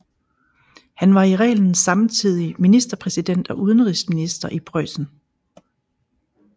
Han var i reglen samtidig ministerpræsident og udenrigsminister i Preussen